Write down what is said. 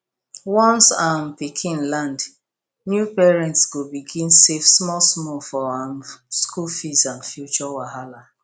once um pikin land new parents go begin save smallsmall for um school fee and future wahala